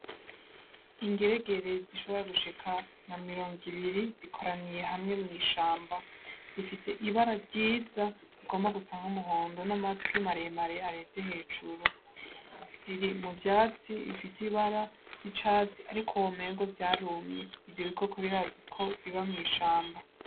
Ingeregere zishobora gushika nka mirongo ibiri zikoraniye hamwe mw'ishamba, zifise ibara ryiza rigomba gusa nk'umuhondo n'amatwi maremare areze hejuru, ziri mu vyatsi bifise ibara ry'icatsi ariko womenga vyarumye, ivyo bikoko birazwi ko biba mw'ishamba.